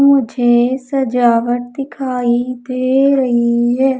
मुझे सजावट दिखाई दे रही है।